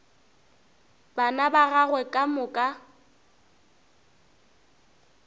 bana ba gagwe ka moka